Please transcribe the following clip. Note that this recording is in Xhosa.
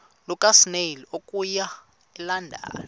lukasnail okuya elondon